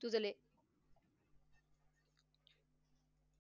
जुजले.